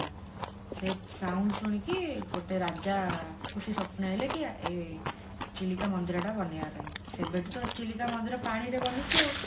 ସେ sound ଶୁଣିକି ଗୋଟେ ରାଜାକୁ ସେ ସ୍ଵପନେଇଲେ କି ଚିଲିକା ମନ୍ଦିର ଟା ବନେଇବା ପାଇଁ ସେବେଠୁ ତ ଚିଲିକା ମନ୍ଦିର ପାଣିରେ ବନିଛି ଆଉ